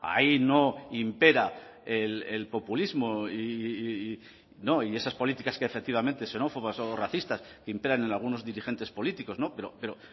ahí no impera el populismo y no y esas políticas que efectivamente xenófobas o racistas que imperan en algunos dirigentes políticos no pero